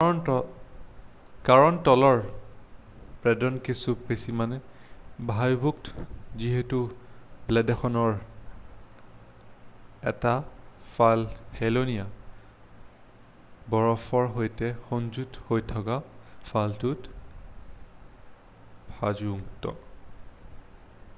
কাৰণ তলৰ ব্লেডখন কিছু পৰিমানে ভাঁজযুক্ত যিহেতু ব্লেডখনৰ 1টা ফাল হেলনীয়া বৰফৰ সৈতে সংযুক্ত হৈ থকা ফালটোও ভাঁজযুক্ত